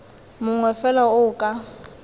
mongwe fela o o ka